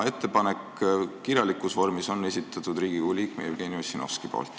Kirjalikus vormis on ettepanek esitatud Riigikogu liikme Jevgeni Ossinovski poolt.